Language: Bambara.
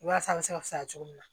Walasa a bɛ se ka fisaya cogo min na